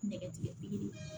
Nɛgɛtigɛbe